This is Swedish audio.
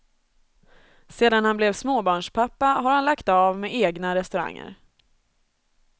Sedan han blev småbarnspappa har han lagt av med egna restauranger.